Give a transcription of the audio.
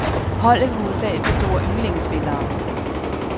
Holdet vil hovedsagelig bestå af ynglingespillere.